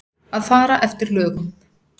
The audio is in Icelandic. Að fara eftir lögum.